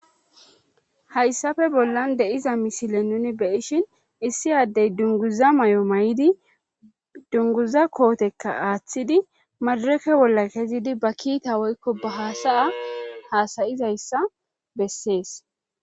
hayssafe bollan de7iza misile nuni beyishin issi addey dunguza may7o may7idi dunguza kootekka aaththidi madureke bolla kezidi ba kiita woykko ba hasaya hasayizayssa bessees